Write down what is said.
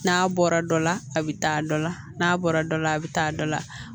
N'a bɔra dɔ la a bɛ taa dɔ la n'a bɔra dɔ la a bɛ taa dɔ la